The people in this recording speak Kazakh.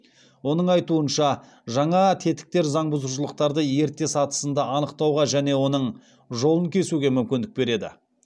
оның айтуынша жаңа тетіктер заңбұзушылықтарды ерте сатысында анықтауға және оның жолын кесуге мүмкіндік береді